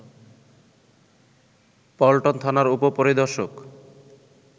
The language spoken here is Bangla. পল্টন থানার উপ-পরিদর্শক